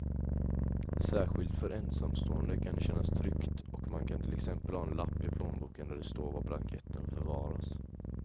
Särskilt för ensamstående kan det kännas tryggt och man kan till exempel ha en lapp i plånboken där det står var blanketten förvaras.